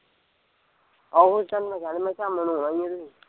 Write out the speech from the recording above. ਆਹੋ ਤੇਨੂੰ ਮੈਂ ਕਹਿਣਾ ਮੈਂ ਕਿਹਾਂ ਅਮਨ ਨੂੰ ਨਾ ਕਹਿਦੀ